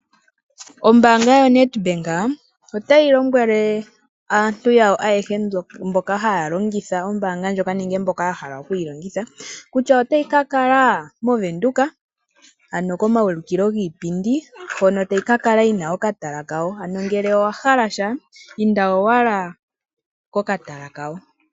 Ombaanga yo NedBank otayi lombwele aantu yawo ayehe mboka haya longitha ombaanga ndjoka, nenge mboka ya hala okuyi longitha kuutya otayi ka kala mOvenduka, ano komaulikilo giipindi hono tayi ka kala yina okatala kawo, ano ngele owa hala sha inda owala kokatala kawo.